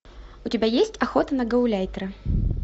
у тебя есть охота на гауляйтера